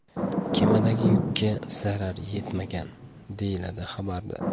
Kemadagi yukka zarar yetmagan”, deyiladi xabarda.